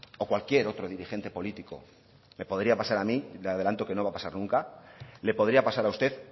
o cualquier otro dirigente político me podría pasar a mí le adelanto que no va a pasar nunca le podría pasar a usted